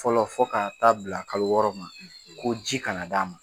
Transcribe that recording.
Fɔlɔ fɔ ka taa bila kalo wɔɔrɔ ma ko ji kana d'a ma.